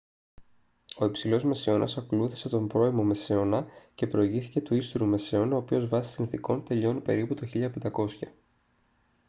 ο υψηλός μεσαίωνας ακολούθησε τον πρώιμο μεσαίωνα και προηγήθηκε του ύστερου μεσαίωνα ο οποίος βάσει συνθηκών τελειώνει περίπου το 1500